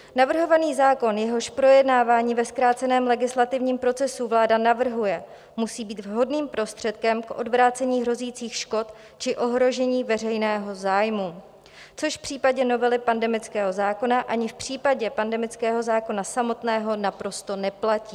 Navrhovaný zákon, jehož projednávání ve zkráceném legislativním procesu vláda navrhuje, musí být vhodným prostředkem k odvrácení hrozících škod či ohrožení veřejného zájmu, což v případě novely pandemického zákona ani v případě pandemického zákona samotného naprosto neplatí.